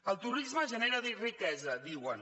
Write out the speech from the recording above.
el turisme genera riquesa diuen